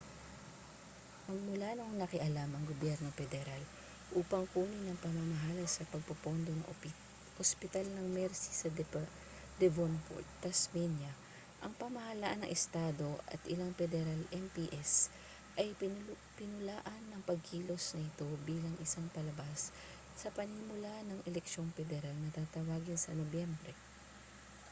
magmula noong nakialam ang gobyerno pederal upang kunin ang pamamahala sa pagpopondo ng ospital ng mersey sa devonport tasmania ang pamahalaan ng estado at ilang pederal mps ay pinulaan ang pagkilos na ito bilang isang palabas sa panimula ng eleksyong pederal na tatawagin sa nobyembre